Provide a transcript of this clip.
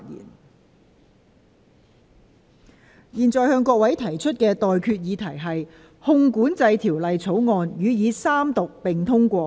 我現在向各位提出的待決議題是：《汞管制條例草案》予以三讀並通過。